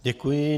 Děkuji.